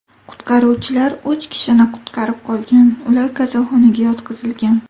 Qutqaruvchilar uch kishini qutqarib qolgan, ular kasalxonaga yotqizilgan.